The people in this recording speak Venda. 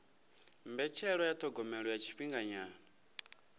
mbetshelwa ya thogomelo ya tshifhinganyana